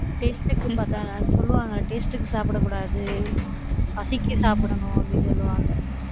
taste க்குன்னு பார்த்தா, சொல்லுவாங்க taste க்கு சாப்பிடக் கூடாது, பசிக்கு சாப்பிடணும் அப்படின்னு சொல்லுவாங்க